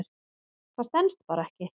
Það stenst bara ekki.